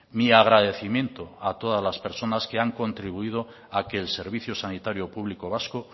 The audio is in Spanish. mi agradecimiento a todas las personas que han contribuido a que el servicio sanitario público vasco